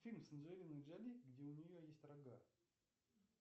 фильм с анджелиной джоли где у нее есть рога